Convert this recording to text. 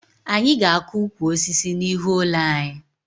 Anyị ga-akụ ukwu osisi n'ihu ụlọ anyị